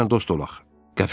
Gəl səninlə dost olaq.